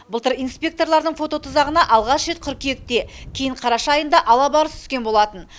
былтыр испекторлардың фототұзағына алғаш рет қыркүйекте кейін қараша айында алабарыс түскен болатын